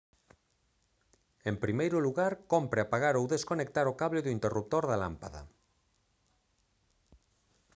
en primeiro lugar cómpre apagar ou desconectar o cable do interruptor da lámpada